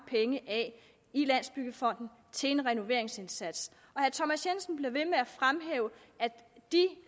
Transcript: penge af i landsbyggefonden til en renoveringsindsats og herre thomas jensen bliver ved med at fremhæve at